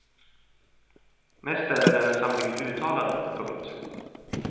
Mest är den en samling uttalanden. punkt